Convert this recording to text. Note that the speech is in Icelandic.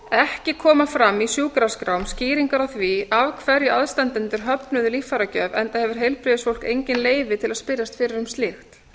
ekki koma fram í sjúkraskrám skýringar á því af hverju aðstandendur höfnuðu líffæragjöf enda hefur heilbrigðisstarfsfólk engin leyfi að spyrjast fyrir um slíkt